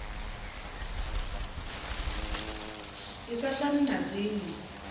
i sa fani na dzinwe